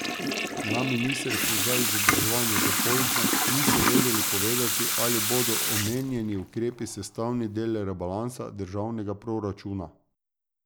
Na ministrstvu za izobraževanje dopoldne niso vedeli povedati, ali bodo omenjeni ukrepi sestavni del rebalansa državnega proračuna.